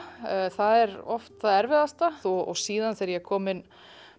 það er oft það erfiðasta síðan þegar ég er komin